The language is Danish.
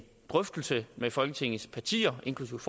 drøftelse med folketingets partier inklusive